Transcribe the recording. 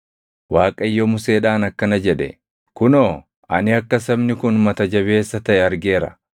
“ Waaqayyo Museedhaan akkana jedhe; ‘Kunoo, ani akka sabni kun mata jabeessa taʼe argeera.